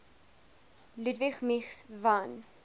ludwig mies van